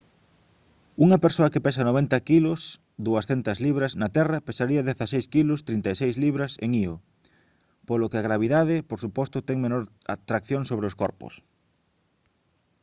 unha persoa que pesa 90 kg 200 libras na terra pesaría 16 kg 36 libras en io. polo que a gravidade por suposto ten menor tracción sobre os corpos